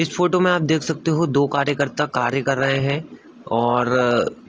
इस फ़ोटो में आप देख सकते हो दो कार्यकर्ता कार्य कर रहे हैैं और